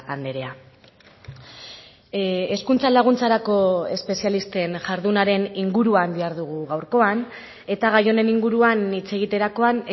andrea hezkuntza laguntzarako espezialisten jardunaren inguruan dihardugu gaurkoan eta gai honen inguruan ni hitz egiterakoan